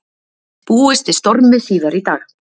Búist við stormi síðar í dag